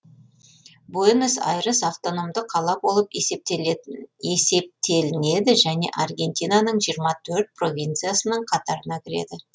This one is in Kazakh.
буэнос айрес автономды қала болып есептелінеді және аргентинаның жиырма төрт провинциясының қатарына кіреді